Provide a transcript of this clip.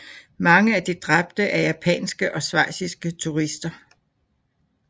Mange af de dræbte er japanske og schweiziske turister